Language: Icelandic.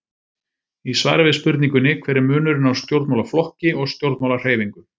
Í svari við spurningunni Hver er munurinn á stjórnmálaflokki og stjórnmálahreyfingu?